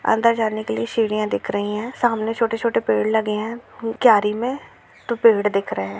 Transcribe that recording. अंदर जाने के लिए सीढ़िया दिख रहे हैं सामने छोटे-छूटे पेड़ लगे हैं मे पेड़ दिख रहे हैं।